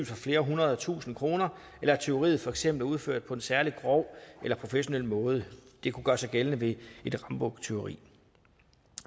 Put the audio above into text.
for flere hundrede tusind kroner eller at tyveriet for eksempel er udført på en særlig grov eller professionel måde det kunne gøre sig gældende ved et rambuktyveri